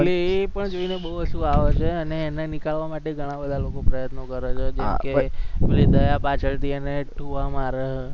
એ એ પણ જોઈને બોવ હસવું આવે છે અને એને નીકળવા માટે ઘણા બધા લોકો પ્રયત્ન કરે છે જેમકે પેલી દયા પાછળથી એને ડુબા મારે છે.